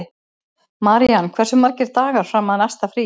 Marían, hversu margir dagar fram að næsta fríi?